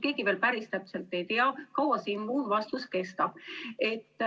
Keegi veel päris täpselt ei tea, kaua see immuunsus kestab.